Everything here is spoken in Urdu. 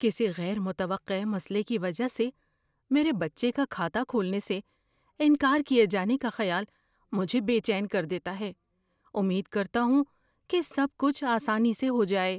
کسی غیر متوقع مسئلے کی وجہ سے میرے بچے کا کھاتہ کھولنے سے انکار کیے جانے کا خیال مجھے بے چین کر دیتا ہے، امید کرتا ہوں کہ سب کچھ آسانی سے ہو جائے۔